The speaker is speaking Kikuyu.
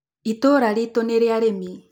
Itũra ritũ nĩrĩa arĩmi.